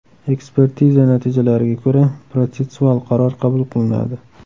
Ekspertiza natijalariga ko‘ra protsessual qaror qabul qilinadi.